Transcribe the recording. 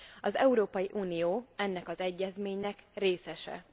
Az Európai Unió ennek az egyezménynek részese.